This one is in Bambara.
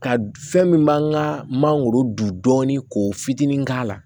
Ka fɛn min b'an ka mangoro dun dɔɔni ko fitinin k'a la